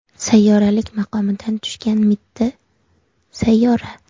Sayyoralik maqomidan tushgan mitti sayyora.